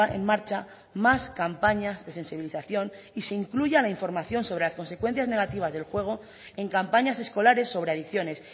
en marcha más campañas de sensibilización y se incluya la información sobre las consecuencias negativas del juego en campañas escolares sobre adicciones